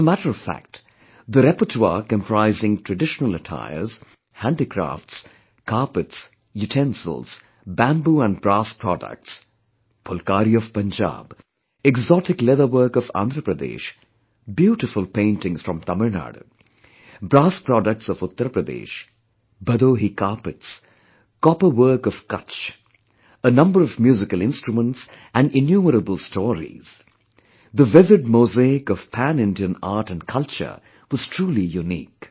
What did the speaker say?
As a matter of fact the repertoire comprising traditional attires, handicrafts, carpets, utensils, Bamboo & brass products, Phulkari of Punjab, exotic leatherwork of Andhra Pradesh, beautiful paintings from Tamilnadu, brass products of Uttar Pradesh, Bhadohi carpets, copper work of Kutch, a number of musical instruments & innumerable stories; the vivid mosaic of pan Indian art & culture was truly unique